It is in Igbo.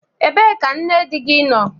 Ebee ka nne di gị nọ?